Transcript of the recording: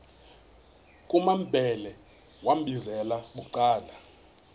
kumambhele wambizela bucala